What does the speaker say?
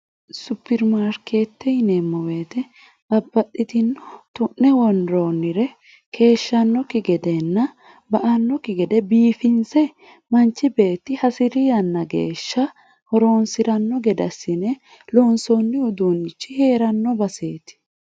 supirmaarkeette yineemmoweete babbaxxitino tu'ne worroonnire keeshshannokki gedeenna ba annokki gede biifinse manchi beetti hasi'ri yanna geeshsha horoonsi'ranno gedassine loonsoonni uduunnichi hee'ranno baseeti